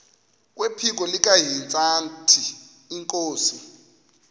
kwephiko likahintsathi inkosi